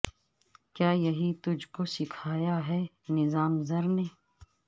کیا یہی تجھ کو سکھایا ہے نظام زر نے